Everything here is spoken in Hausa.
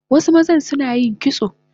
Wasu mazan Sunayin kitso